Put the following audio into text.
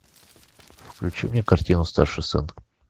включи мне картину старший сын